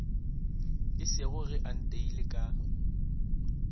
esego ge a nteile ka